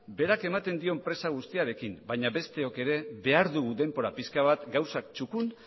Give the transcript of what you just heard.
berak ematen dio presa guztiarekin baina besteok ere behar dugu denbora pixka bat gauzak txukun